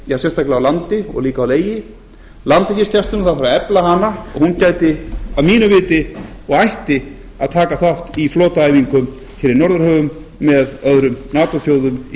sérstaklega á landi og líka á legi það þarf að efla landhelgisgæsluna og hún gæti að mínu viti og ætti að taka þátt í flotaæfingum hér í norðurhöfum með öðrum nato þjóðum